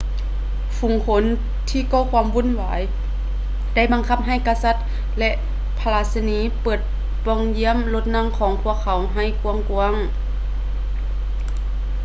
ຝູງຄົນທີ່ກໍ່ຄວາມວຸ່ນວາຍ ໄດ້ບັງຄັບໃຫ້ກະສັດ ແລະ ພະລາຊະນີ ເປີດປ່ອງຍ້ຽມລົດນັ່ງຂອງພວກເຂົາໃຫ້ກວ້າງໆ